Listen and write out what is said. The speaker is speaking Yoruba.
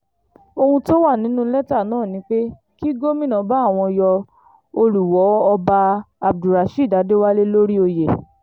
ohun tó wà nínú lẹ́tà náà ni pé kí gómìnà bá àwọn yọ olùwọ́ọ ọba abdulrasheed adéwálé lórí oyè